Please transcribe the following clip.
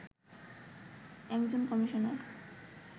একজন কমিশনার